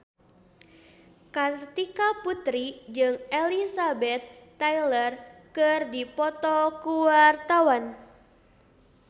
Kartika Putri jeung Elizabeth Taylor keur dipoto ku wartawan